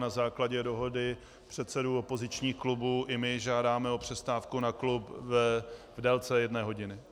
Na základě dohody předsedů opozičních klubů i my žádáme o přestávku na klub v délce jedné hodiny.